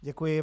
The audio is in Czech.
Děkuji.